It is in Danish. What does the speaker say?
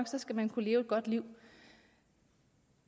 skal man kunne leve et godt liv